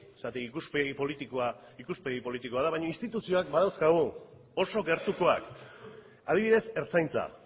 zergatik ikuspegi politikoa zergatik ikuspegi politikoa ikuspegi politikoa da baino instituzioak badauzkagu oso gertukoak adibidez ertzaintza